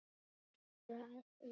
Ertu að því?